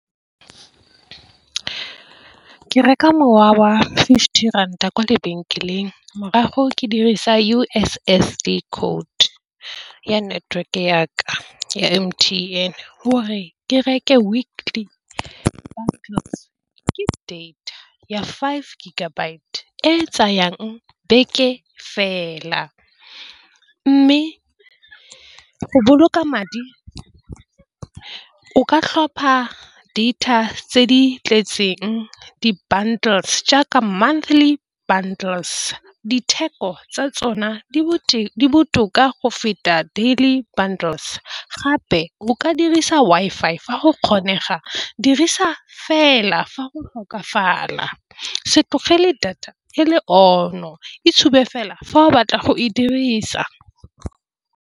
Ke reka mowa wa fifty ranta kwa lebenkeleng, morago ke dirisa U_S_S_D code ya network ya ka ya M_T_N gore ke reke weekly data ya five G e tsayang beke fela, mme go boloka madi o ka tlhopha data tse di tletseng di-bundles jaaka di monthly bundles. Ditheko tsa tsona di boteng botoka go feta daily bundles, gape go ka dirisa Wi-Fi fa go kgonega dirisa fela fa go tlhokafala se tlogele data e le on-o e tsube fela fa o batla go e dirisa.